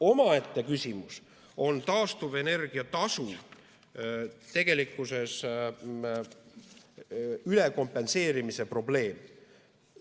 Omaette küsimus on taastuvenergia tasu ülekompenseerimise probleem.